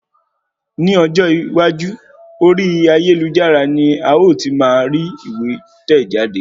Ni ọjọ́ iwájú, orí ayélujára ní a o ti máa rí ìwé tẹ̀ jáde